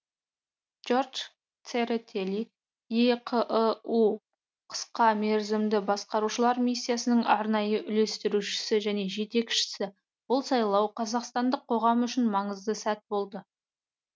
джордж церетели еқыұ қысқа мерзімді байқаушылар миссиясының арнайы үйлестірушісі және жетекшісі бұл сайлау қазақстандық қоғам үшін маңызды сәт болды